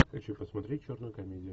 хочу посмотреть черную комедию